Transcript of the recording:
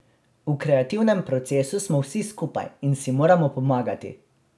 V kreativnem procesu smo vsi skupaj in si moramo pomagati.